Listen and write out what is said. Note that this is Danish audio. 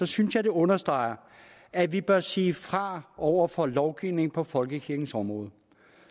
synes jeg det understreger at vi bør sige fra over for lovgivning på folkekirkens område